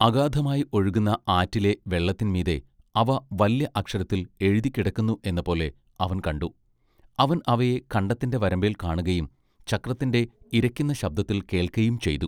അഗാധമായി ഒഴുകുന്ന ആറ്റിലെ വെള്ളത്തിൻ മീതെ അവ വല്യ അക്ഷരത്തിൽ എഴുതിക്കിടക്കുന്നു എന്നപോലെ അവൻ കണ്ടു അവൻ അവയെ കണ്ടത്തിന്റെ വരമ്പെൽ കാണുകയും ചക്രത്തിന്റെ ഇരയ്ക്കുന്ന ശബ്ദത്തിൽ കേൾക്കയും ചെയ്തു.